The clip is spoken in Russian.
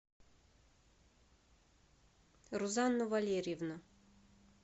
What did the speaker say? рузанну валерьевну